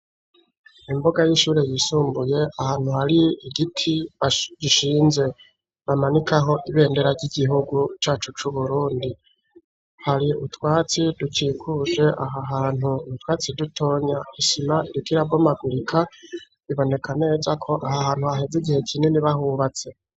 Imbuga y'ishuri ryisumbuye ahantu hari igiti gishinze bamanikako ibendera ry'igihugu cacu c'uburundi hari utwatsi dukikuje aha hantu har'utwatsi dutoya isima ritarabomagurika iboneka neza ko aho hantu haheze igihe kinini bahubatse.